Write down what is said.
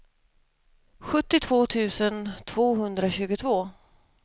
sjuttiotvå tusen tvåhundratjugotvå